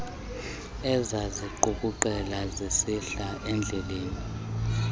ezaziqukuqela zisihla ezidleleni